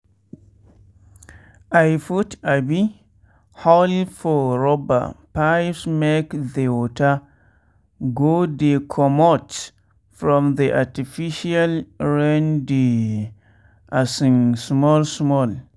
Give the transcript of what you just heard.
i put um hole for rubber pipesmake the water go dey commot for the artificial raindey um small small.